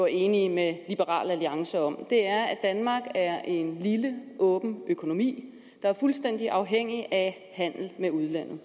enige med liberal alliance om er at danmark er en lille åben økonomi der er fuldstændig afhængig af handel med udlandet